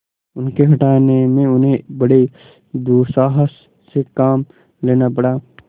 उनके हटाने में उन्हें बड़े दुस्साहस से काम लेना पड़ा